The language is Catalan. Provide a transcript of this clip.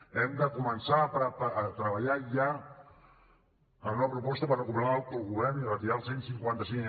hem de començar a treballar ja en una proposta per recuperar l’autogovern i retirar el cent i cinquanta cinc